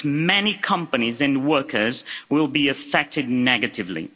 But many companies and workers will be affected negatively.